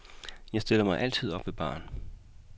Jeg stiller mig altid op ved baren.